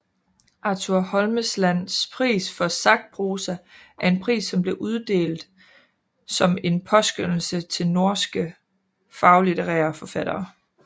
Arthur Holmeslands pris for sakprosa er en pris som bliver uddelt som en påskønnelse til norske faglitterære forfattere